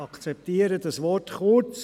Ich akzeptiere das Wort «kurz».